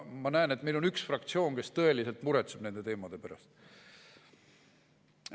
Ma näen, et meil on üks fraktsioon, kes tõeliselt muretseb nende teemade pärast.